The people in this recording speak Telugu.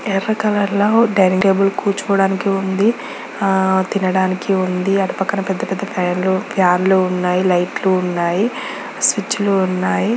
ఎర్ర కలర్ ల ఓ డైనింగ్ టేబుల్ కూర్చోడానికి ఉంది. ఆ తినడానికి ఉంది. అటుపక్కన పెద్ద పెద్ద ఫైర్లు ఫ్యాన్ లు ఉన్నాయి. లైట్ లు ఉన్నాయి. స్విచ్ లు ఉన్నాయి.